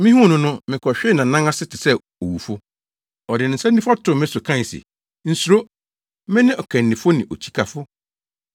Mihuu no no, mekɔhwee nʼanan ase te sɛ owufo. Ɔde ne nsa nifa too me so kae se, “Nsuro! Mene Ɔkannifo ne Okyikafo.